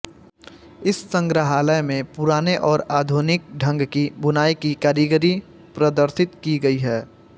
इस संग्रहालय में पुराने और आधुनिक ढंग की बुनाई की कारीगरी प्रदर्शित की गई है